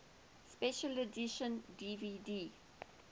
special edition dvd